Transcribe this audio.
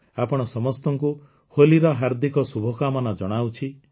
ଆପଣ ସମସ୍ତଙ୍କୁ ହୋଲିର ହାର୍ଦ୍ଦିକ ଶୁଭକାମନା ଜଣାଉଛି